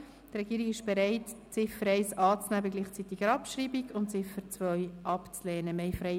Die Regierung ist bereit, die Ziffer 1 anzunehmen bei